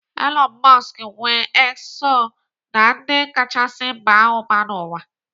Elon Musk nwee X so na ndị kachasị baa ụba n'ụwa.